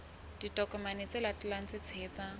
ditokomane tse latelang tse tshehetsang